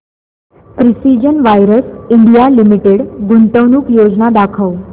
precision wires India limited गुंतवणूक योजना दाखव